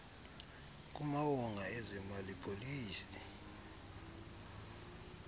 kumawonga ezemali policy